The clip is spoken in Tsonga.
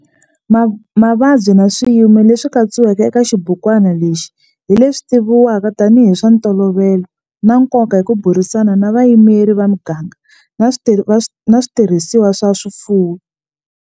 Mavabyi na swiyimo leswi katsiwaka eka xibukwana lexi hi leswi tivivwaka tanihi hi swa ntolovelo na nkoka hi ku burisana na vayimeri va miganga na switirhisiwa swa swifuwo.